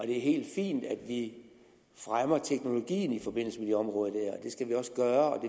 er helt fint at vi fremmer teknologien i forbindelse med det område og det skal vi også gøre og